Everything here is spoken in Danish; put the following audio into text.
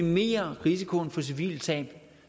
minimere risikoen for civile tab